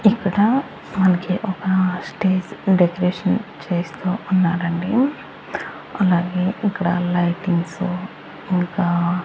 ఇక్కడ మనకి ఒక స్టేజ్ డెకరేషన్ చేస్తూ ఉన్నారండి అలాగే ఇక్కడ లైటింగ్స్ ఇంకా --